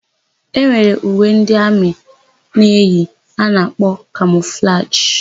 E nwere uwe ndị amị na-eyi a na-akpọ kamọflajị.